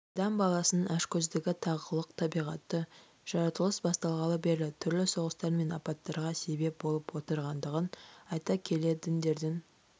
адам баласының ашкөздігі тағылық табиғаты жаратылыс басталғалы бері түрлі соғыстар мен апаттарға себеп болып отырғандығын айта келе діндердің